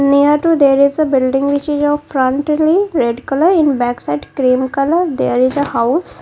near to there is a building which is of frontly red colour in back side cream colour there is a house.